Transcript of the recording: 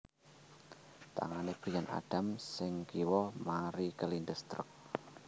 Tangane Bryan Adams sing kiwa mari kelindes truk